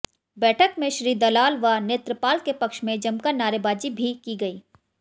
बैठक में श्री दलाल व नेत्रपाल के पक्ष में जमकर नारेबाजी भी की गई